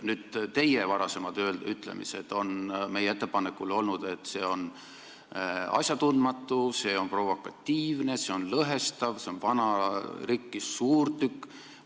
Nüüd, teie varasemad ütlemised meie ettepaneku kohta on olnud, et see on asjatundmatu, see on provokatiivne, see on lõhestav, see on vana rikkis suurtükk.